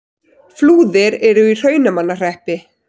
Flúðir er í Hrunamannahreppi.